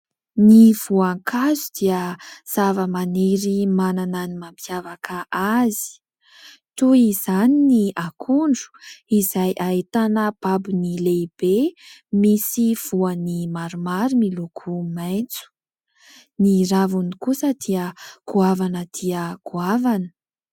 Ny voankazo dia zavamaniry manana ny mampiavaka azy, toy izany ny akondro izay ahitana babony lehibe misy voany maromaro miloko maitso, ny raviny kosa dia goavana dia goavana.